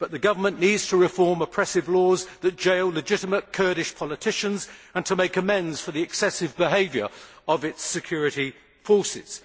The government needs to reform oppressive laws that jail legitimate Kurdish politicians and to make amends for the excessive behaviour of its security forces.